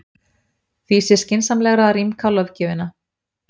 Því sé skynsamlegra að rýmka löggjöfina.